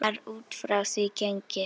Var út frá því gengið?